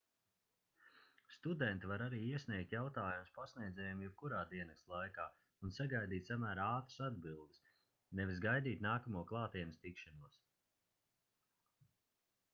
studenti var arī iesniegt jautājumus pasniedzējiem jebkurā diennakts laikā un sagaidīt samērā ātras atbildes nevis gaidīt nākamo klātienes tikšanos